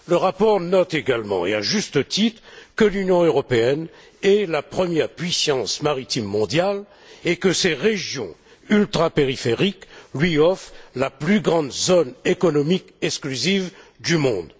Le rapport note également, et à juste titre, que l'Union européenne est la première puissance maritime mondiale et que ses régions ultrapériphériques lui offrent la plus grande zone économique exclusive du monde.